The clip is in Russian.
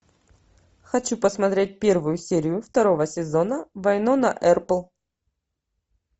хочу посмотреть первую серию второго сезона вайнона эрпл